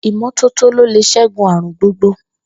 Ìmó̩tótó ló lè s̩égun àrùn gbogbo.